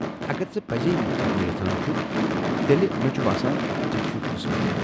اگر ژٕ پٔزی یہ کرُن یژھان چھُکھ تیٚلہ مےٚ چھ باسان ژےٚ چُھی قٕسمتھ ۔